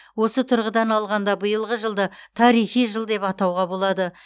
осы тұрғыдан алғанда биылғы жылды тарихи жыл деп атауға болады